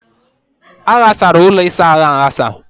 A ghasara ụlọ ịsa ahụ aghasa.